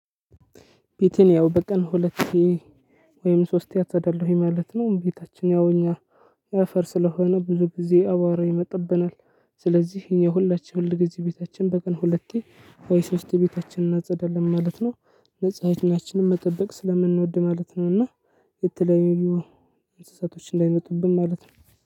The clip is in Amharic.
ቤቴን ያው በቀን ሁለት ወይም ሶስቴ አፀዳለሁኝ ማለት ነው። ቤታችን ያው እኛ አፈር ስለሆነ ብዙ ጊዜ አቧራ ይመጥብናል። ስለዚህ እኛ ሁላችን ሁልጊዜ ቤታችን በቀን ሁለቴ ወይ ሶስቴ ቤታችንን እናጸዳለን ማለት ነው። ንፅናችንን መጠበቅ ስለምንወድ ማለት ነው። እና የተለያዩ እንስሳቶች እንዳይመጡብን ማለት ነው።